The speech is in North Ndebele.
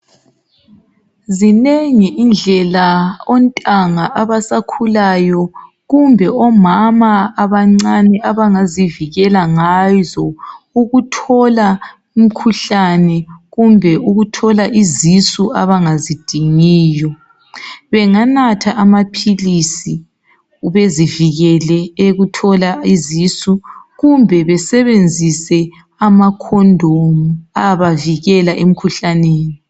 Zinengi indlela ontanga abasakhulayo kumbe omama abancane abangazivikela ngazo ukuthola umkhuhlane kumbe ukuthola izisu abangazidingiyo benganatha amaphilisi bezivikele ekuthola izisu kumbe besebenzise amakhondomu ayabavikela emkhuhlaneni.